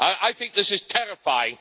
I think this is terrifying.